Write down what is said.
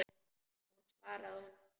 Hún svaraði honum ekki.